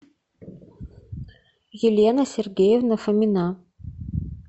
елена сергеевна фомина